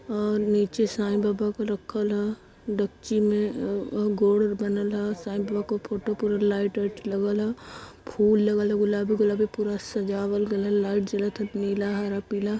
और नीचे साईं बाबा क रखल ह दक्षिण में गोर बनल ह। साईबाबा को फोटो पूरा लाईट वाईट लगल ह फुल लगल ह गुलाबी -गुलाबी पूरा सजावल गइल ह। लाइट जलत ह नीला हारा पिला --